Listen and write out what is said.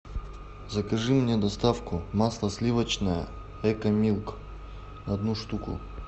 закажи мне доставку масло сливочное экомилк одну штуку